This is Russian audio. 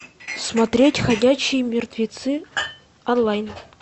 смотреть ходячие мертвецы онлайн